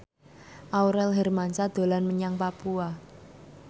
Aurel Hermansyah dolan menyang Papua